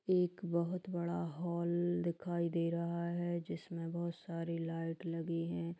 एक बहोत बड़ा हॉल दिखाई दे रहा है जिसमें बहोत सारी लाइट लगी हैं।